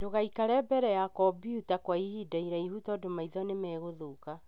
Ndũgaikare mbere ya cobyuta kwa ihinda iraihu tondũ maitho nĩmagũthuka.